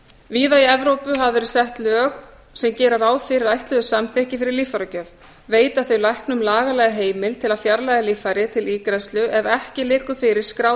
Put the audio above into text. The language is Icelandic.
víða í evrópu hafa verið sett lög sem gera ráð fyrir ætluðu samþykki fyrir líffæragjöf veita þau læknum lagalega heimild til að fjarlægja líffæri til ígræðslu ef ekki liggur fyrir skráð